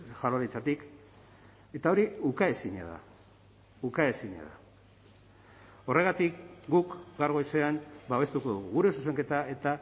jaurlaritzatik eta hori ukaezina da ukaezina da horregatik guk gaur goizean babestuko dugu gure zuzenketa eta